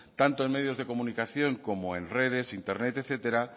tanto en medios de comunicación como en redes internet etcétera